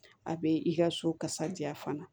A bɛ i ka so kasaja fana